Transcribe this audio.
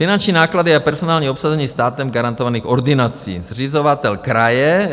Finanční náklady a personální obsazení státem garantovaných ordinací, zřizovatel - kraje.